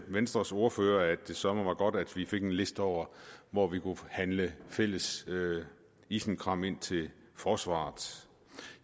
venstres ordfører at det søreme var godt at vi fik en liste over hvor vi kunne handle fælles isenkram ind til forsvaret